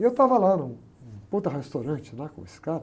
E eu estava lá num, num restaurante lá com esse cara.